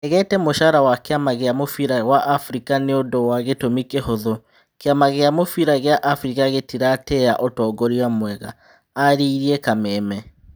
"Ndegete mũcara wa kĩ ama gĩ a mũbira wa Afrika nĩ ũndũ wa gĩ tũmi kĩ hũthũ, kĩ ama gĩ a mũbira gĩ a Afrika gĩ tiratĩ ĩ ya ũtongoria mwega" arerire Kameme.